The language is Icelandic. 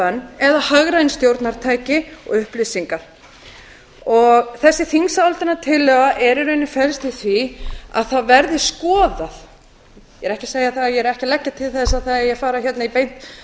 bönn eða hagræn stjórnartæki og upplýsingar þessi þingsályktunartillaga felst í rauninni í því að það verði skoðað ég er ekki að leggja til að það eigi að fara hérna í beint